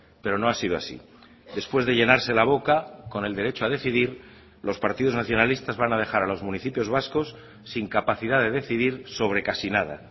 pero no ha sido así después de llenarse la boca con el derecho a decidir los partidos nacionalistas van a dejar a los municipios vascos sin capacidad de decidir sobre casi nada